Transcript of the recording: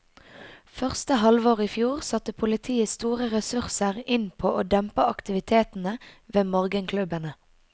Første halvår i fjor satte politiet store ressurser inn på å dempe aktivitetene ved morgenklubbene.